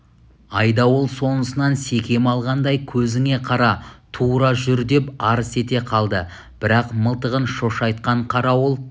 айдауыл сонысынан секем алғандай көзіңе қара тура жүр деп арс ете қалды бірақ мылтығын шошайтқан қарауыл